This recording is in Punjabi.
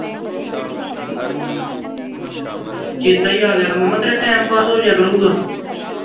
ਚੇਤਾ ਈ ਆ ਗਿਆ ਮਾਮਾ ਤੇਰਾ time pass ਹੋ ਜਾਇਆ ਕਰੂੰਗਾ